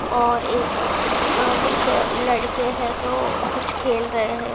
और एक अ कुछ लड़के है जो कुछ खेल रहे हैं।